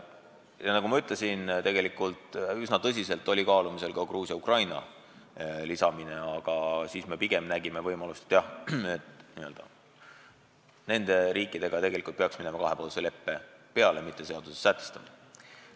Ja nagu ma ütlesin, tegelikult oli üsna tõsiselt kaalumisel ka Gruusia ja Ukraina lisamine, aga lõpuks me pigem nägime võimalust, et nende riikidega peaks minema kahepoolse leppe peale, mitte seaduses sätestama.